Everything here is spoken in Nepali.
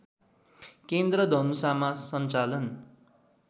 केन्द्र धनुषामा सञ्चालन